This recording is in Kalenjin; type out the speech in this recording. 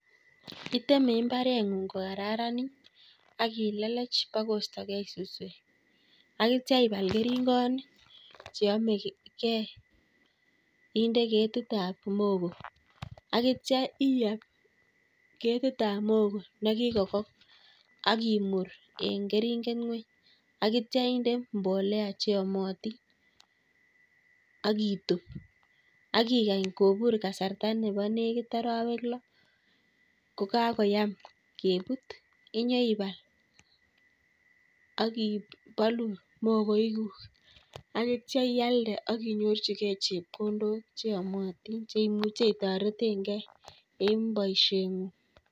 iteme mbaretng'ung' kokararanit, akilelech akoistogei suswek akitcha ibal keringonik cheyamegei inde ketit ap muhogo akitcha ial ketit ap muhogo nekikokony, akimur ing' keringet ng'wuny akitcha inde mbolea cheamatin, akitub akikany kobur kasarta nenekit arawek lo. kokakoyam kebut inyeibal akibalu muhogoikuk akitcha ialde akinyorchigei chepkondok cheamatin cheimuche itaretegei ing' boisietng'ung'